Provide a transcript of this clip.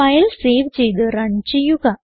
file save ചെയ്ത് run ചെയ്യുക